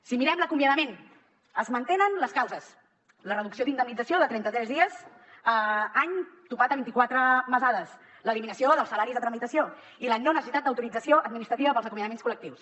si mirem l’acomiadament es mantenen les causes la reducció d’indemnització de trenta tres dies any amb topall de vint i quatre mesades l’eliminació dels salaris de tramitació i la no necessitat d’autorització administrativa per als acomiadaments col·lectius